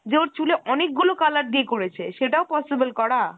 যে ওর চুলে অনেকগুলো color দিয়ে করেছে। সেটাও possible করা?